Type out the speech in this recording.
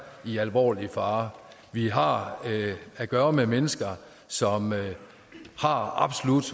i alvorlig fare vi har at gøre med mennesker som absolut